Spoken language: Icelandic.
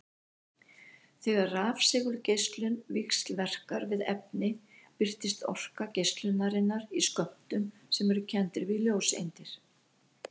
Þegar rafsegulgeislun víxlverkar við efni birtist orka geislunarinnar í skömmtum sem eru kenndir við ljóseindir.